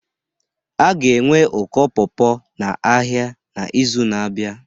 A ga-enwe ụkọ pawpaw n'ahịa n'izu na-abịa